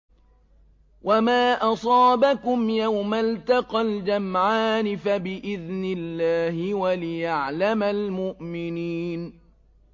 وَمَا أَصَابَكُمْ يَوْمَ الْتَقَى الْجَمْعَانِ فَبِإِذْنِ اللَّهِ وَلِيَعْلَمَ الْمُؤْمِنِينَ